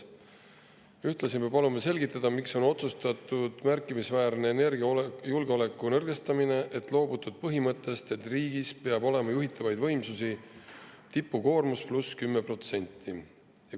Ühtlasi palume selgitada, miks on otsustatud märkimisväärselt energiajulgeolekut nõrgestada ja on loobutud põhimõttest, et riigis peab juhitavate võimsuste olema tipukoormus pluss 10%.